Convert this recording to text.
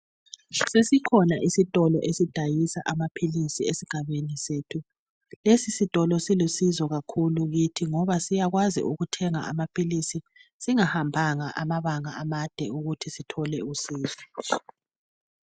Sesikhona isitolo esidayisa amaphilisi esigabeni sethu ,lesi sitolo silusizo kakhulu kithi ngoba siyakwazi ukuthenga amaphilisi singahambanga amabanga amade ukuthi sithole .